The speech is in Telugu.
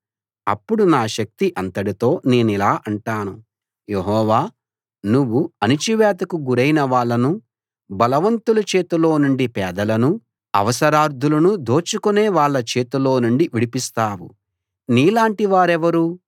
అప్పుడు నా శక్తి అంతటితో నేనిలా అంటాను యెహోవా నువ్వు అణచివేతకు గురైన వాళ్ళను బలవంతుల చేతిలో నుండీ పేదలనూ అవసరార్థులనూ దోచుకునే వాళ్ళ చేతిలో నుండీ విడిపిస్తావు నీలాటి వారెవరు